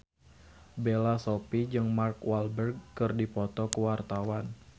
Bella Shofie jeung Mark Walberg keur dipoto ku wartawan